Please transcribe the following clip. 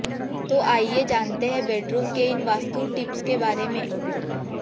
तो आइये जानते हैं बेडरूम के इन वास्तु टिप्स के बारे में